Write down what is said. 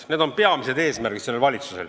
Need on selle valitsuse peamised eesmärgid.